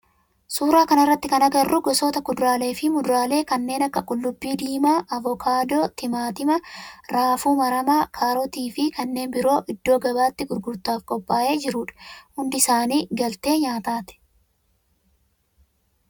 Suuraa kana irratti kan agarru gosoota kuduraalee fi muduraalee kanneen akka qullubbii diimaa, avokaadoo, timaatima, raafuu maramaa, kaarootii fi kanneen biroo iddoo gabaatti gurgurtaaf qophaa'ee jirudha. Hundi isaani galtee nyaatati.